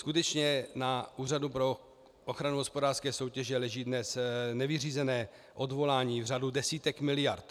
Skutečně na Úřadu pro ochranu hospodářské soutěže leží dnes nevyřízená odvolání v řádu desítek miliard.